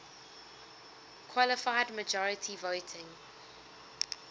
qualified majority voting